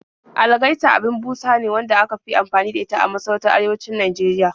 Algaita abin busa ne wadda aka fi anfani da ita a masarautun arewacin Najeriya